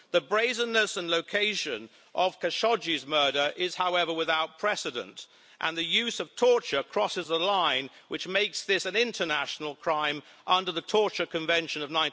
The brazenness and the location of Khashoggi's murder are, however, without precedent, and the use of torture crosses the line which makes this an international crime under the Torture Convention of